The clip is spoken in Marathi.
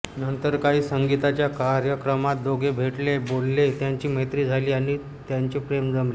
नंतर काही संगीताच्या कार्यक्रमांत दोघे भेटले बोलले त्यांची मैत्री झाली आणि त्यांचे प्रेम जमले